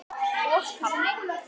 og pabbi.